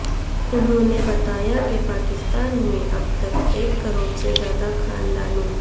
انہوں نے بتایا کہ پاکستان میں اب تک ایک کروڑ سے زائد خاندانوں